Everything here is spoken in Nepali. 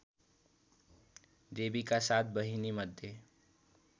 देवीका सात बहिनीमध्ये